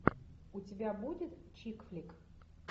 у тебя будет чикфлик